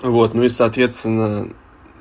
вот ну и соответственно